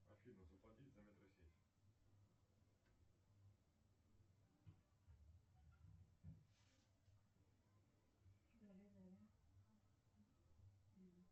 афина заплатить за метросеть